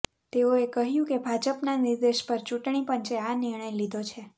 તેઓએ કહ્યું કે ભાજપના નિર્દેશ પર ચૂંટણી પંચે આ નિર્ણય લીધો છે